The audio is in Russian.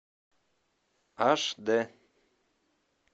аш дэ